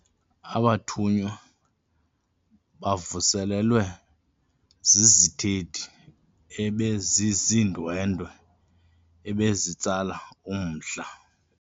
Abathunywa bavuselelwe zizithethi ebeziziindwendwe ebezitsala umdla